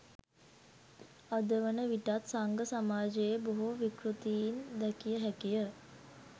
අදවන විටත් සංඝ සමාජයේ බොහෝ විකෘතීන් දැකිය හැකිය